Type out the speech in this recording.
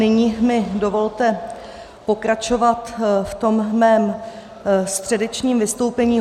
Nyní mi dovolte pokračovat v tom mém středečním vystoupení.